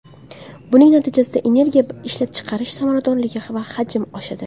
Buning natijasida energiya ishlab chiqarish samaradorligi va hajmi oshadi.